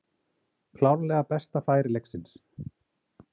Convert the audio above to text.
Klárlega besta færi leiksins.